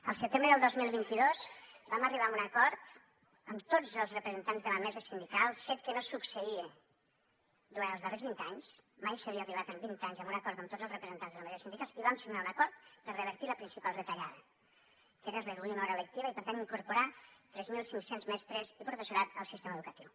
al setembre del dos mil vint dos vam arribar a un acord amb tots els representants de la mesa sindical fet que no succeïa durant els darrers vint anys mai s’havia arribat en vint anys a un acord amb tots els representants de la mesa sindical i vam signar un acord per revertir la principal retallada que era reduir una hora lectiva i per tant incorporar tres mil cinc cents mestres i professorat al sistema educatiu